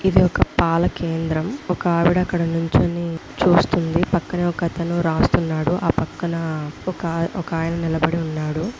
ఇది ఒక పాలకేంద్రం ఒక ఆవిడ అక్కడ నుంచుని చూస్తుంది పక్కన ఒక అతను రాస్తునాడు ఆపక్కన ఒక ఆయన ఒక ఆయన నిలబడి వున్నాడు.